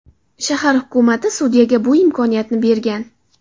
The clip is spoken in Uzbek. Shahar hukumati sudyaga bu imkoniyatni bergan.